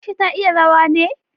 Aisha ta iya rawa ne?